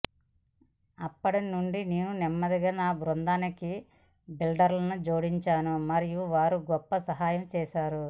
అప్పటి నుండి నేను నెమ్మదిగా నా బృందానికి బిల్డర్లను జోడించాను మరియు వారు గొప్ప సహాయం చేశారు